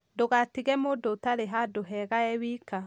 ndugatige mũndũ ũtarĩ handũ hega e wika.